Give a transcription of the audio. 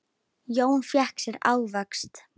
Jón fékk sér ávöxt.